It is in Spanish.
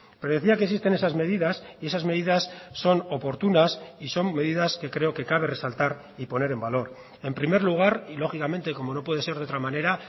pero decía que existen esas medidas y esas medidas son oportunas y son medidas que creo que cabe resaltar y poner en valor en primer lugar y lógicamente como no puede ser de otra manera